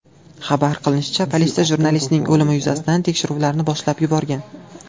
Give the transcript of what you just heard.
Xabar qilinishicha, politsiya jurnalistning o‘limi yuzasidan tekshiruvlarni boshlab yuborgan.